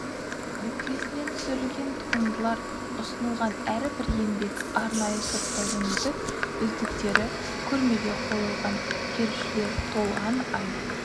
нүктесінен түсірілген туындылар ұсынылған әрбір еңбек арнайы сұрыптаудан өтіп үздіктері көрмеге қойылған келушілер толған ай